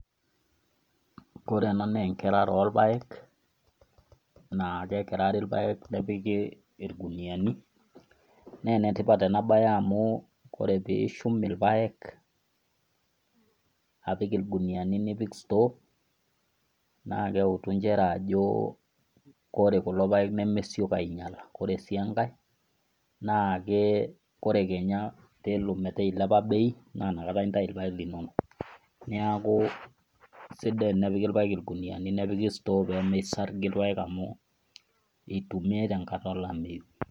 Kore ena naa enkerare olpaek, naake ekerari ilpaek nepiki ilguniani naa enetipat enabaye amu ore peishum ilpaek, apik ilguniani nipik store naake eutu nchere ajo ore kulo paek nemesioki ainyala, ore siankai naake ore kenya peaku eilepa bei, naa nakata intai ilpaek linono. Neaku sidai tenepiki ilpaek ilguniani nepiki store pee meisargi ilpaek amu eitumiai tenkata olameyu.